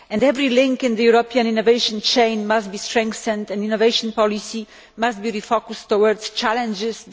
Every link in the European innovation chain must be strengthened and innovation policy must be focused towards challenges.